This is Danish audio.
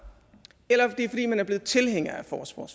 eller det er fordi man er blevet tilhænger